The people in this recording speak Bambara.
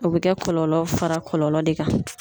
O be kɛ kɔlɔlɔ fara kɔlɔlɔ de kan.